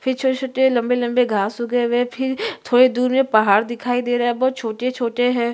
फिर छोटे-छोटे लम्बे-लम्बे घास उगे हुए है फिर थोड़े दूर में पहाड़ दिखाई दे रहा है बहोत छोटे-छोटे--